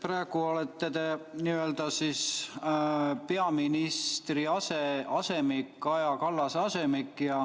Praegu olete te peaminister Kaja Kallase asemik.